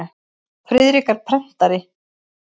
Friðrik er prentari.